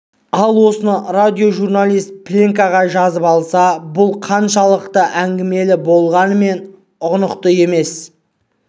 ал осыны радиожурналист пленкаға жазып алса бұл қаншалықты әңгімелі болғанымен ұғынықты емес